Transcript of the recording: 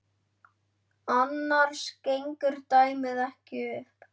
Annars gengur dæmið ekki upp.